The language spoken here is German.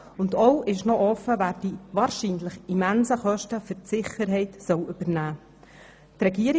Ebenso ist offen, wer die wahrscheinlich immensen Kosten für die Sicherheit übernehmen soll.